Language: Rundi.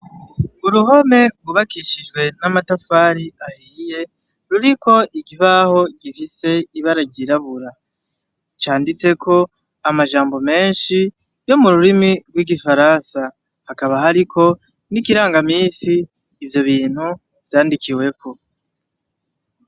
Uruhome rwubakishijwe n'amatafari ahiye ruriko ikibaho gifise ibara ryirabura, canditseko amajambo menshi yo mu rurimi rwigifaransa hakaba hariko nikiranga minsi ivyo bintu vyandikiweko.